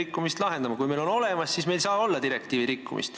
Kui meil on see kõik olemas, siis meil ei saa olla direktiivi rikkumist.